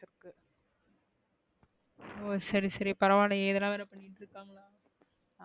ஹோ சரி சரி பரவாலையே இதலா வேற பண்ணிட்டுஇருகாங்க,